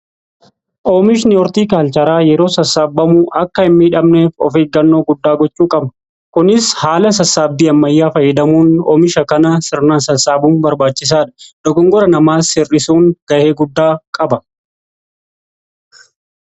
Oomishni hortiikaalcheraa yeroo sassaabbamuu akka hin miidhamneef of eeggannoo guddaa gochuu qaba. Kunis haala sassaabbii ammayyaa fayyadamuun oomisha kana sirnaan sassaabuun barbaachisaadha. Dogongora namaas hir'isuun ga'ee guddaa qaba.